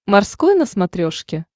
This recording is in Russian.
морской на смотрешке